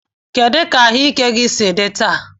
Kedu ka ahụike gị si dị taa?